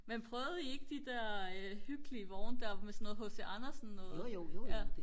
men prøvede I ikke de der hyggelige vogne der med sådan noget H.C. Andersen noget ja